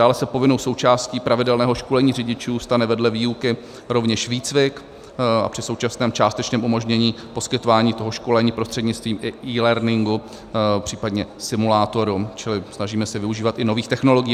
Dále se povinnou součástí pravidelného školení řidičů stane vedle výuky rovněž výcvik a při současném částečném umožnění poskytování toho školení prostřednictvím eLearningu, případně simulátoru, čili snažíme se využívat i nových technologií.